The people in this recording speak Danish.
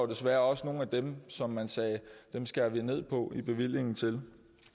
desværre også nogle af dem som man sagde om at dem skærer vi ned på bevillingen til